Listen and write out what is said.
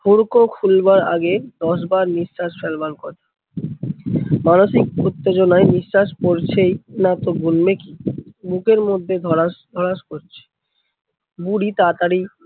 হুড়কো খুলবার আগে দশবার নিঃশ্বাস ফেলবার কথা, মানসিক উত্তেজনা নিঃশ্বাস পরছেই না তো গুনবে কি? বুকের মধ্যে ধড়াস ধড়াস করছে। বুড়ি তাতাড়ি